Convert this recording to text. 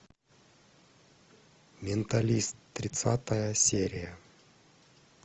менталист тридцатая серия